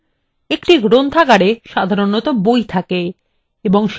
এবং সেই বইগুলি নথিভুক্ত সদস্যদেরকে দেওয়া হয়